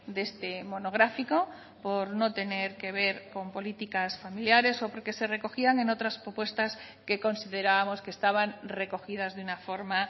de este monográfico por no tener que ver con políticas familiares o porque se recogían en otras propuestas que considerábamos que estaban recogidas de una forma